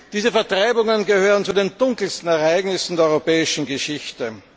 Diese Vertreibungen gehören zu den dunkelsten Ereignissen der europäischen Geschichte.